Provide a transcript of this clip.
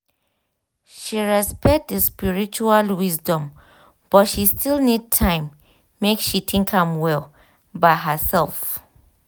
she respect di spiritual wisdom but she still need time make she think am well by herself.